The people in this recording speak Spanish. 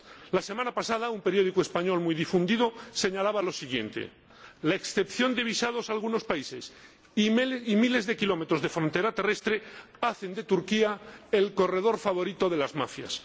La semana pasada, un periódico español muy difundido señalaba lo siguiente La excepción de visado a algunos países y miles de kilómetros de frontera terrestre hacen de Turquía el corredor favorito de las mafias.